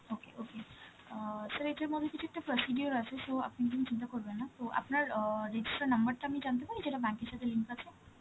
okay, okay. অ্যাঁ sir এটার মধ্যে কিছু একটা procedure আছে, so আপনি কোন চিন্তা করবেন না. তো আপনার অ্যাঁ registered number টা জানতে পারি যেটা bank এর সাথে link আছে?